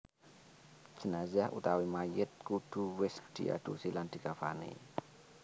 Jenazah/Mayit kudu wis diadusi lan dikafani